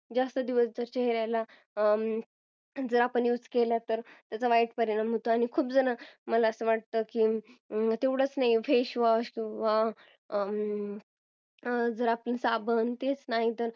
जास्त दिवस जर आपण चेहऱ्याला use केला तर त्याचा वाईट परिणाम होतो आणि खूप जण मला असं वाटतं तेवढंच नाही face wash जर आपण साबण